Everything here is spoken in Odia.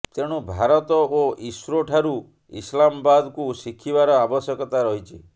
ତେଣୁ ଭାରତ ଏବଂ ଇସ୍ରୋଠାରୁ ଇସଲାମାବାଦକୁ ଶିଖିବାର ଆବଶ୍ୟକତା ରହିଛି